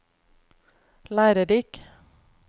lærerik